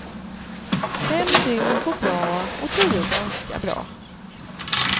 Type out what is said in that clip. Fem dygn går bra och tio ganska bra.